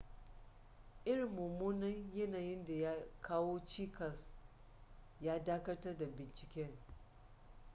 irin mummunan yanayin da ya kawo cikas ya dakatar da binciken